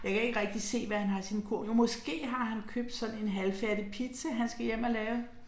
Jeg kan ikke rigtig se hvad han har i sin kurv, jo måske har han købt sådan en halvfærdig pizza, han skal hjem og lave